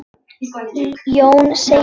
Jón segir: